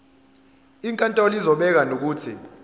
inkantolo izobeka nokuthi